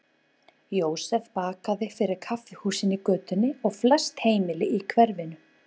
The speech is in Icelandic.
Jósef bakaði fyrir kaffihúsin í götunni og flest heimili í hverfinu.